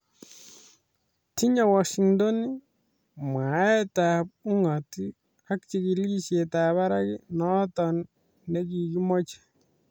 Tinye Washington mwaet ap ungat ag chigilisiet ap parak noton negimoche.